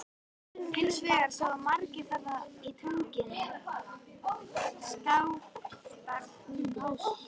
Hins vegar sáu margir þarna í Tungunni, Skaftártungu.